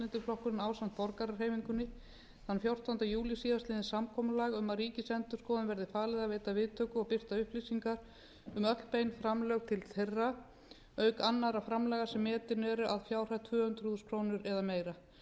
og frjálslyndi flokkurinn ásamt borgarahreyfingunni þann fjórtánda júlí síðastliðinn samkomulag um að ríkisendurskoðun verði falið að veita viðtöku og birta upplýsingar um öll bein framlög til þeirra auk annarra framlaga sem metin eru að fjárhæð tvö hundruð þúsund krónur eða meira